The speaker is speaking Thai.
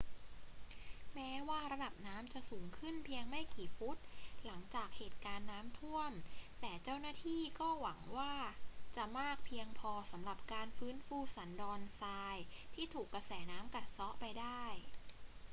แม้ว่าระดับน้ำจะสูงขึ้นเพียงไม่กี่ฟุตหลังจากเหตุการณ์น้ำท่วม แต่เจ้าหน้าที่ก็หวังว่าจะมากเพียงพอสำหรับการฟื้นฟูสันดอนทรายที่ถูกกระแสน้ำกัดเซาะไปได้